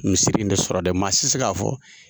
Misiri in de sɔrɔ dɛ, maa si tɛ se k'a fɔ